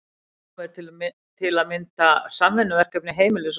Heimanám er til að mynda samvinnuverkefni heimilis og skóla.